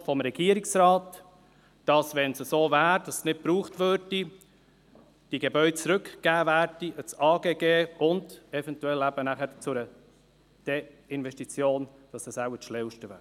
In der Antwort des Regierungsrates steht, die Gebäude würden dem Amt für Grundstücke und Gebäude (AGG) zurückgegeben, sollte es so sein, dass sie nicht gebraucht würden, und eventuell wäre eine Desinvestition das Schlauste wäre.